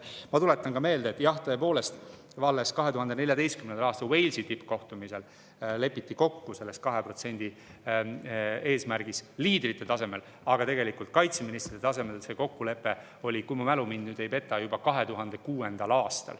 Ma tuletan ka meelde, et jah, tõepoolest alles 2014. aastal Walesi tippkohtumisel lepiti kokku 2% eesmärgis liidrite tasemel, aga kaitseministrite tasemel see kokkulepe oli, kui mu mälu mind ei peta, juba 2006. aastal.